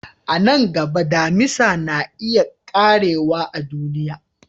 A nan gaba, Damisa na iya ƙarewa a duniya.